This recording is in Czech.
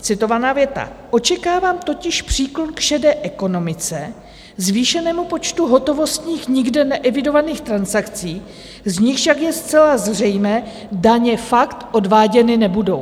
Citovaná věta: "Očekávám totiž příklon k šedé ekonomice, zvýšenému počtu hotovostních, nikde neevidovaných transakcí, z nichž však je zcela zřejmé, daně fakt odváděny nebudou."